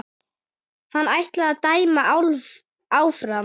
Hann ætli að dæma áfram.